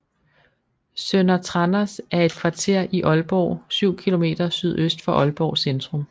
Sønder Tranders er et kvarter i Aalborg syv kilometer sydøst for Aalborg Centrum